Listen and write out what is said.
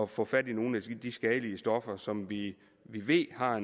få fat i nogle af de skadelige stoffer som vi vi ved har